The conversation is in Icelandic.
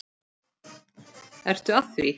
Ertu að því?